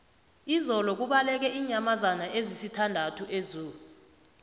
izolo kubaleke iinyamazana ezisithandathu ezoo